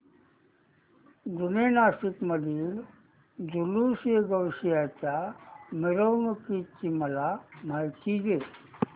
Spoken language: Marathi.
जुने नाशिक मधील जुलूसएगौसिया च्या मिरवणूकीची मला माहिती दे